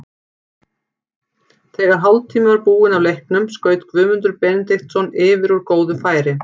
Þegar hálftími var búinn af leiknum skaut Guðmundur Benediktsson yfir úr góðu færi.